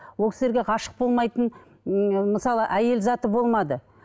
ол кісілерге ғашық болмайтын ыыы мысалы әйел заты болмады